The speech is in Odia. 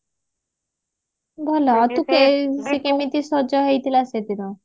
ସେ କେମିତେ ସଜ ହେଇଥିଲା ସେଦିନ